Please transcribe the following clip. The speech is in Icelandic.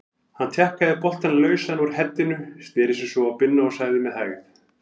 Hann tjakkaði boltann lausan úr heddinu, sneri sér svo að Binna og sagði með hægð